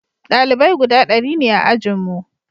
dalibai guda dari ne a ajinmu